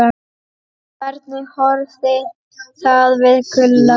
Hvernig horfði það við Gulla?